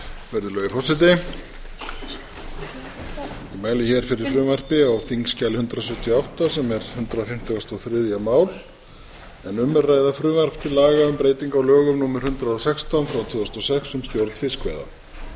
virðulegi forseti ég mæli hér fyrir frumvarpi á þingskjali hundrað sjötíu og átta sem er hundrað fimmtugasta og þriðja mál en um er að ræða frumvarp til laga um breyting á lögum númer hundrað og sextán tvö þúsund og sex um stjórn fiskveiða